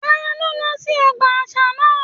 Taló lọ sí ọgbà àṣà náà?